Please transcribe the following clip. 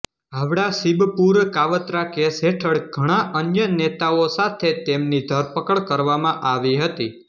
હાવડાસિબપુર કાવતરા case હેઠળ ઘણા અન્ય નેતાઓ સાથે તેમની ધરપકડ કરવામાં આવી હતી